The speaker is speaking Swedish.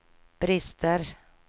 brister